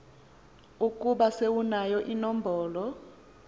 ukuba sewunayo inombolo